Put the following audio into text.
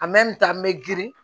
n bɛ girin